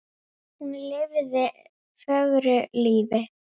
Iðunn getur átt við